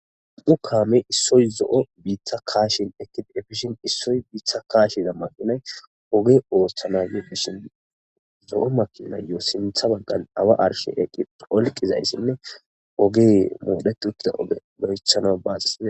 u kaame issoy zo7o biita kaashin ekip efishin issoy biitha kaashiza maqinay oge ooththana yefeshin zo7o makinayyoo sintha baggan awa arshe eqqi olqizayssinne oge moodheti uttida oge berechana baasis